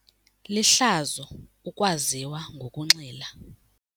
Lihlazo ukwaziwa ngokunxila.